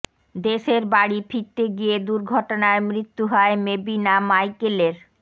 দেশের বাড়ি ফিরতে গিয়ে দুর্ঘটনায় মৃত্যু হয় মেবিনা মাইকেলের